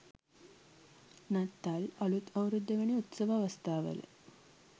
නත්තල් අලූත් අවුරුද්ද වැනි උත්සව අවස්ථාවල